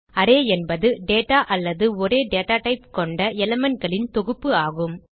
array என்பது data அல்லது ஒரே data டைப் கொண்ட elementகளின் தொகுப்பு ஆகும்